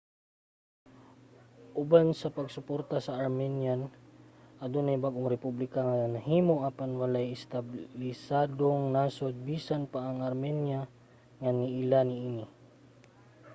uban sa pagsuporta sa armenian adunay bag-ong republika nga nahimo. apan walay establisadong nasod - bisan pa ang armenia - nga niila niini